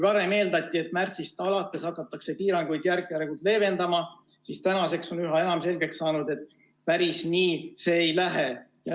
Varem eeldati, et märtsist alates hakatakse piiranguid järk-järgult leevendama, aga praeguseks on üha enam selgeks saanud, et päris nii see ei lähe.